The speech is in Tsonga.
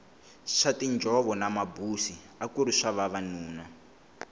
swa tinjhovo na mabusi akuri swa vanuna